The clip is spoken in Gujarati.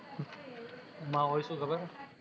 એમા હોઇ શું ખબર હે